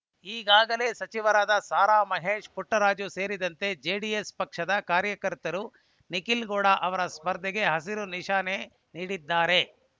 ಈಗಾಗಲೇ ಸಚಿವರಾದ ಸಾರಾ ಮಹೇಶ್ ಪುಟ್ಟರಾಜು ಸೇರಿದಂತೆ ಜೆಡಿಎಸ್ ಪಕ್ಷದ ಕಾರ್ಯಕರ್ತರು ನಿಖಿಲ್‌ಗೌಡ ಅವರ ಸ್ಪರ್ಧೆಗೆ ಹಸಿರು ನಿಶಾನೆ ನೀಡಿದ್ದಾರೆ